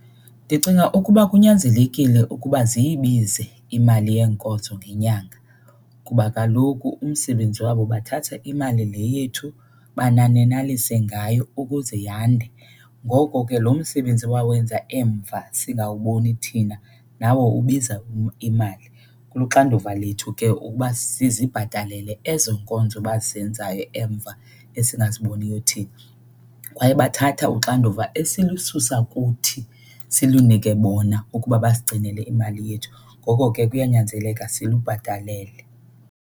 Ndicinga ukuba kunyanzelekile ukuba ziyibize imali yeenkonzo ngenyanga kuba kaloku umsebenzi wabo bathatha imali le yethu bananenalise ngayo ukuze yande. Ngoko ke lo msebenzi bawenza emva singawubona thina nawo ubiza imali. Kuluxanduva lethu ke ukuba sizibhatalele ezo nkonzo abazenzayo emva esingaziboniyo thina. Kwaye bathatha uxanduva esilususa kuthi silunike bona ukuba basigcinele imali yethu, ngoko ke kuyanyanzeleka silibhatalele.